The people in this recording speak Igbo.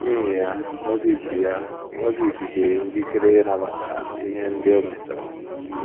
N’ihi ya, Mozis ya, Mozis dịịrị njikere ịnabata ihe ndị o mejọrọ.